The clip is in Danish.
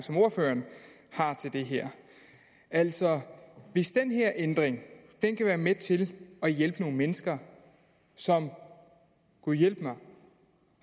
som ordføreren har til det her altså hvis den her ændring kan være med til at hjælpe nogle mennesker som gudhjælpemig